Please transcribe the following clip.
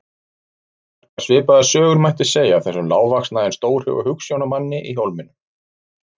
Margar svipaðar sögur mætti segja af þessum lágvaxna en stórhuga hugsjónamanni í Hólminum.